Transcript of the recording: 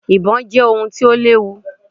Ibò je ohun ti o léwu